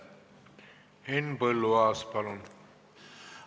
Henn Põlluaas, palun!